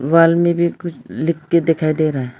Wall में भी कुछ लिखकर दिखाई दे रहा है।